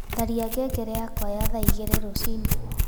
tharĩa ngengere yakwa ya thaa ĩgĩrĩ rũcĩĩnĩ